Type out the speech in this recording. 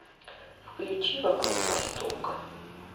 включи вокруг востока